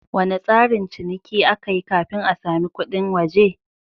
Wane tsarin ciniki aka yi kafin a sami kudin waje?